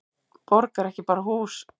Borg er ekki bara hús.